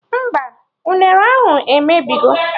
Mba, unere ahụ emebigo